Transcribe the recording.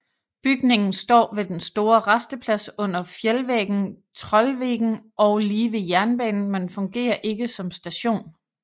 Bygningen står ved den store rasteplads under fjeldvæggen Trollveggen og lige ved jernbanen men fungerer ikke som station